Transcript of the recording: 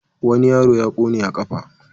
Wani yaro ya ƙone a ƙafa.